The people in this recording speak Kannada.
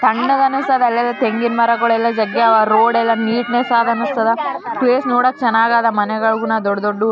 ಹಿಂದೆ ಎರಡು ದೊಡ್ಡ ದೊಡ್ಡ ಕಟ್ಟಡಗಳನ್ನು ನೋಡಬಹುದು ಹಾಗು --